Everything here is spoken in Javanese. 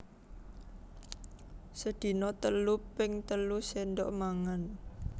Sedina telu ping telu séndhok mangan